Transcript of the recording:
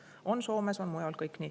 See on Soomes ja on mujalgi.